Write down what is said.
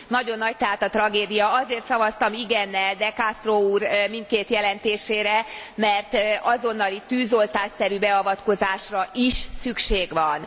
Nagyon nagy tehát a tragédia Azért szavaztam igennel De Castro úr mindkét jelentésére, mert azonnali, tűzoltásszerű beavatkozásra is szükség van.